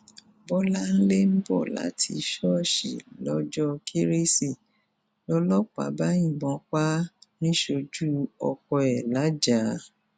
bọláńlé ń bọ láti ṣọọṣì lọjọ kérésì lọlọpàá bá yìnbọn pa á níṣẹjú ọkọ ẹ lajah